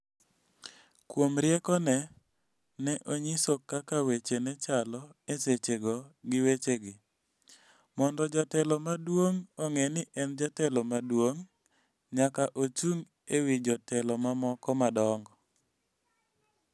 Kuom riekone, ne onyiso kaka weche ne chalo e sechego gi wechegi: "Mondo jatelo maduong' ong'e ni en jatelo maduong', nyaka ochung' e wi jotelo mamoko madongo".